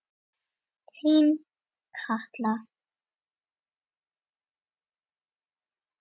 Þín Katla.